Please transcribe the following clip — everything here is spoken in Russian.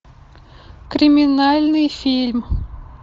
криминальный фильм